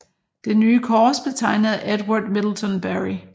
Det nye kors blev tegnet af Edward Middleton Barry